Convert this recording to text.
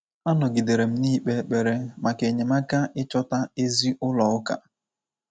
Anọgidere m na-ikpe ekpere maka enyemaka ichọta ezi ụlọ ụka.